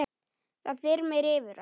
Það þyrmir yfir hann.